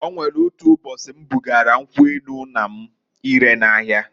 O nwelu otu ụbọchị m bugara nkwu enu nna m ire n'ahia.